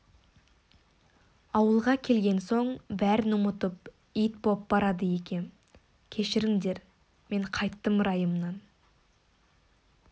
ауылға келген соң соның бәрін ұмытып ит боп барады екем кешіріңдер мен қайттым райымнан